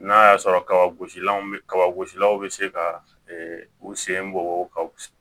N'a y'a sɔrɔ kabagosilan bɛ kaba gosilaw bɛ se ka u sen bɔ ka